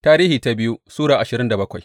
biyu Tarihi Sura ashirin da bakwai